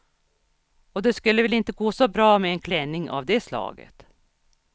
Och det skulle väl inte gå så bra med en klänning av det slaget.